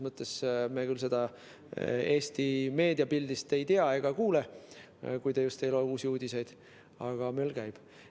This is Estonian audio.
Me küll seda Eesti meediapildist ei näe ega kuule, kui te just ei loe Uusi Uudiseid, aga möll käib.